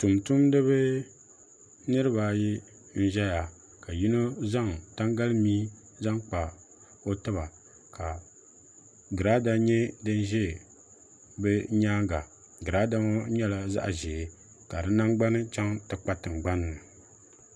tum tumdi ba niriba ayi n-ʒeya ka yino zaŋ tangalimia zaŋ n-kpa o tiba ka Giraada nyɛ din ʒe bɛ nyaaga Giraada ŋɔ nyɛla zaɣ' ʒee ka nangbuni chaŋ ti kpa tiŋgbani ni.